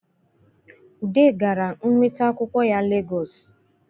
Ude gara inweta akwụkwọ ya Legosi